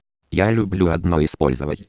я люблю одно использовать